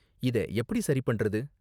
இத எப்படி சரி பண்றது?